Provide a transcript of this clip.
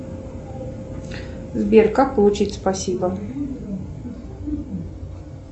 сбер как получить спасибо